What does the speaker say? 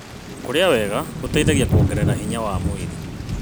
Kũrĩa wega gũteithagia kuongerera hinya wa mwĩrĩ.